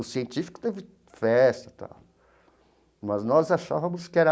O científico teve festa tal, mas nós achávamos que era